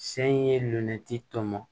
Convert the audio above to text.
Se in ye lunati tɔmɔ